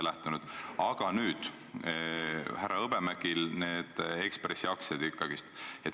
Nüüd on teada, et härra Hõbemäel on Eesti Ekspressi aktsiaid.